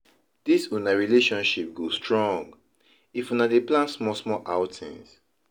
Dis una relationship go strong if una dey plan small-small outings.